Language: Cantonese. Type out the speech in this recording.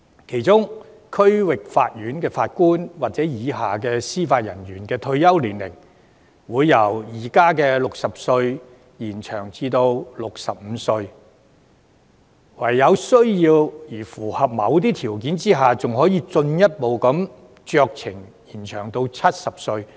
其中，區域法院法官或以下級別司法人員的退休年齡，會由現時的60歲延展至65歲，在有需要並符合某些條件下，還可以酌情進一步延展至70歲。